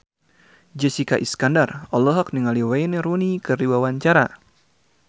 Jessica Iskandar olohok ningali Wayne Rooney keur diwawancara